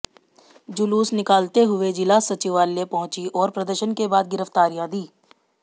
जुलूस निकालते हुए जिला सचिवालय पहुंची और प्रदर्शन के बाद गिरफ्तारियां दी